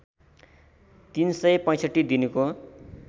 ३ सय ६५ दिनको